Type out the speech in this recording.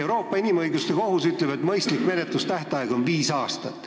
Euroopa Inimõiguste Kohus ütleb, et mõistlik menetlustähtaeg on viis aastat.